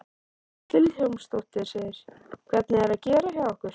Hödd Vilhjálmsdóttir: Hvernig er að gera hjá ykkur?